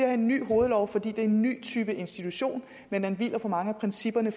er en ny hovedlov fordi det er en ny type institution men den hviler på mange af principperne